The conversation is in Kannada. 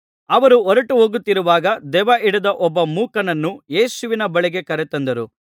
ಅವರು ಹೊರಟುಹೋಗುತ್ತಿರುವಾಗ ದೆವ್ವಹಿಡಿದ ಒಬ್ಬ ಮೂಕನನ್ನು ಯೇಸುವಿನ ಬಳಿಗೆ ಕರೆತಂದರು